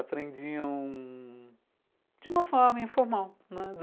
Aprendiam de uma forma informal, né.